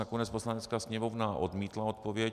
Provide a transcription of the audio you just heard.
Nakonec Poslanecká sněmovna odmítla odpověď.